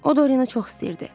O Dorianı çox istəyirdi.